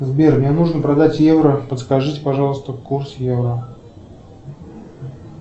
сбер мне нужно продать евро подскажите пожалуйста курс евро